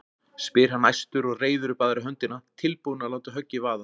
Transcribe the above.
spyr hann æstur og reiðir upp aðra höndina, tilbúinn að láta höggið vaða.